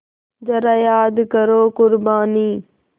ज़रा याद करो क़ुरबानी